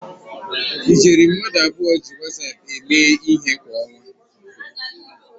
Ijeri mmadụ abụọ ji Wasap eme ihe kwa ọnwa